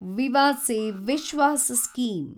Vivad se Vishwas scheme